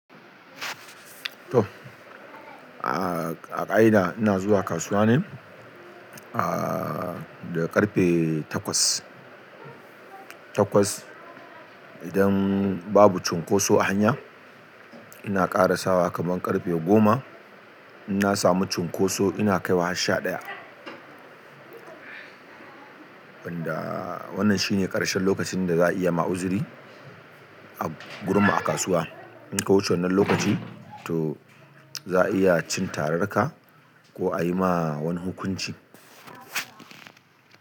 To, a ƙa'ida ina zuwa kasuwa ne a da ƙarfe takwas. Takwas idan babu cunkoso a hanya ina ƙara sawa kamar ƙarfe goma. In na samu cunkoso ina kaiwa har sha ɗaya. Wanda wannan shi ne ƙarshen lokacin da za a iya ma'uzuri a gurma a kasuwa. In ka wuce wannan lokaci to za a iya cin tararka ko a yi ma wani hukunci.